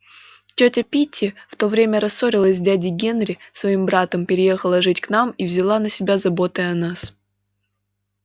тётя питти в то время рассорилась с дядей генри своим братом переехала жить к нам и взяла на себя заботы о нас